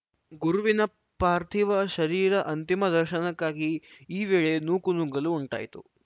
ಗುರುವಿನ ಪಾರ್ಥಿವ ಶರೀರ ಅಂತಿಮ ದರ್ಶನಕ್ಕಾಗಿ ಈ ವೇಳೆ ನೂಕು ನುಗ್ಗಲು ಉಂಟಾಯಿತು